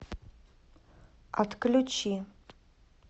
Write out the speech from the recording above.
отключи